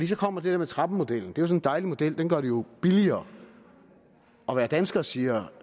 så kommer det der med trappemodellen det er sådan en dejlig model den gør det jo billigere at være dansker siger